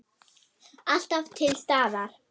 Alltaf til staðar.